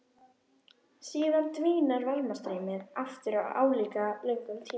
Síðan dvínar varmastreymið aftur á álíka löngum tíma.